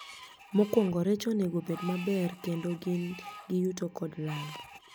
Mokwongo rech onego bed maber kendo gin gi yuto kod lal